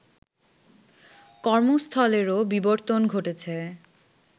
কর্মস্থলেরও বিবর্তন ঘটেছে